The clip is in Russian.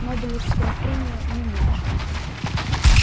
нобелевская премия не меньше